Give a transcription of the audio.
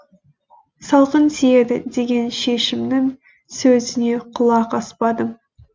салқын тиеді деген шешімнің сөзіне құлақ аспадым